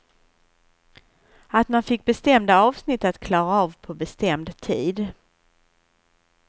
Att man fick bestämda avsnitt att klara av på bestämd tid.